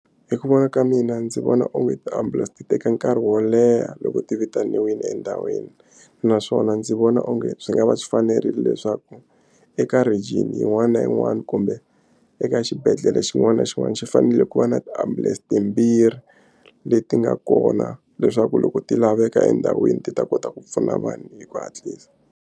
Hi ku vona ka mina ndzi vona onge ti-ambulance ti teka nkarhi wo leha loko ti vitanile endhawini naswona ndzi vona onge swi nga va swi fanerile leswaku eka region yin'wana na yin'wana kumbe eka xibedhlele xin'wana na xin'wana xi fanele ku va na tiambulense timbirhi leti nga kona leswaku loko ti laveka endhawini ti ta kota ku pfuna vanhu hi ku hatlisa.